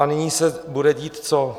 A nyní se bude dít co?